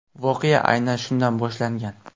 Voqea aynan shundan boshlangan.